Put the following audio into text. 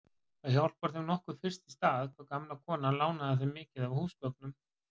Það hjálpar þeim nokkuð fyrst í stað hvað gamla konan lánaði þeim mikið af húsgögnum.